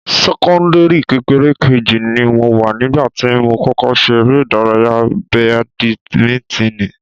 Sẹ́kọ́ńdìrì kékeré kejì ni mo wà nígbà tí mo kọ́kọ́ ṣe eré ìdárayá badimíntíìnì